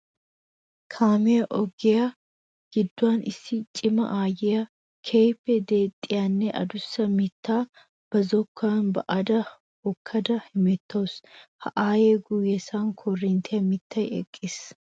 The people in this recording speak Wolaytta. Kaamiya ogiya giduwan issi cima aayiya keehippe deexxiyanne adussa mitta ba zokkuwan ba'adda hokkada hemettawusu. Ha aaye guyen koorinttiya mittay eqqiis.